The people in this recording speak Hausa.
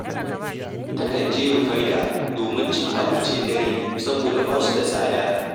Takan je Rufaidah domin cin abincin dare, saboda ba su da tsada